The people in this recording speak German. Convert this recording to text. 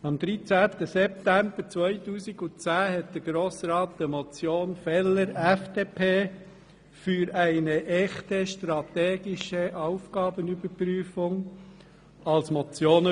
Am 13. September 2010 hat der Grosse Rat eine Motion Feller (FDP) für eine echte strategische Aufgabenüberprüfung überwiesen.